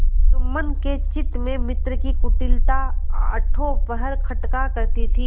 जुम्मन के चित्त में मित्र की कुटिलता आठों पहर खटका करती थी